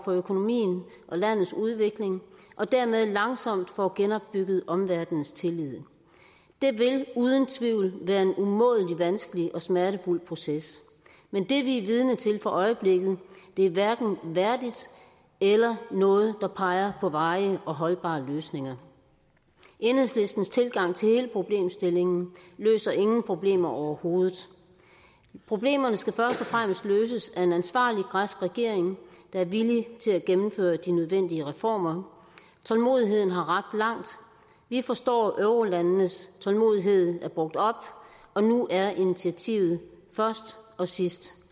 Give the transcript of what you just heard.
for økonomien og landets udvikling og dermed langsomt får genopbygget omverdenens tillid det vil uden tvivl være en umådelig vanskelig og smertefuld proces men det vi er vidne til for øjeblikket er hverken værdigt eller noget der peger på varige og holdbare løsninger enhedslistens tilgang til hele problemstillingen løser ingen problemer overhovedet problemerne skal først og fremmest løses af en ansvarlig græsk regering der er villig til at gennemføre de nødvendige reformer tålmodigheden har rakt langt og vi forstår at eurolandenes tålmodighed er brugt op og nu er initiativet først og sidst